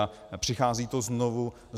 A přichází to znovu.